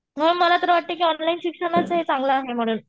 म मला तर वाटतं की ऑनलाइन शिक्षणाचं हे चांगलं आहे म्हणून.